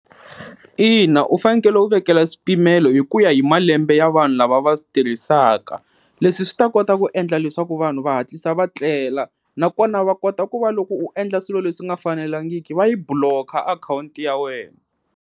Ina, u fanekele u vekela swipimelo hi ku ya hi malembe ya vanhu lava va swi tirhisaka leswi swi ta kota ku endla leswaku vanhu va hatlisa va tlela nakona va kota ku va loko u endla swilo leswi nga fanelangiki va yi block-a akhawunti ya wena.